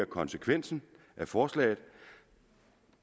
konsekvensen af forslaget